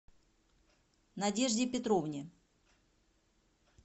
надежде петровне